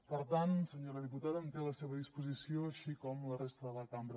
per tant senyora diputada em té a la seva disposició així com la resta de la cambra